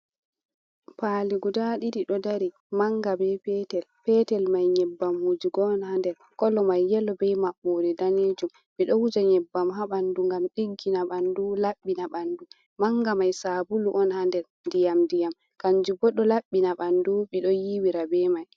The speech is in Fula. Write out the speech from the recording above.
Pali guda ɗiɗi ɗo dari manga be petel petel mai nyebbam wujugo on ha nder, kolo mai yelo be maɓɓode ɗanejum, ɓe ɗo wuja nyebbam ha ɓanɗu ngam ɗiggina ɓanɗu, laɓɓina ɓanɗu, manga mai sabulu on ha nder ndiyam diyam kanju bo ɗo laɓɓina bandu ɓe ɗo yiwira be mai.